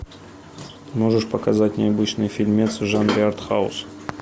можешь показать необычный фильмец в жанре артхаус